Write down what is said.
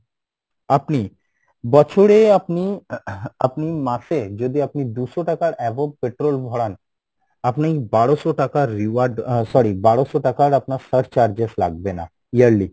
আপনি বছরে আপনি আহ আপনি মাসে যদি আপনি দুশো টাকার above petrol ভরান, আপনি বারোসো টাকার reward আহ sorry বারোসো টাকার আপনার search charges লাগবে না yearly,